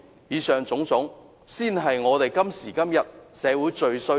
以上種種，才是香港社會今時今日最需要的。